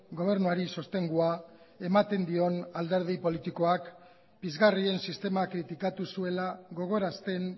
gobernuari sostengua ematen dion alderdi politikoak pizgarrien sistemak kritikatu zuela gogorazten